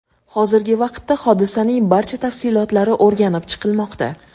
Hozirgi vaqtda hodisaning barcha tafsilotlari o‘rganib chiqilmoqda.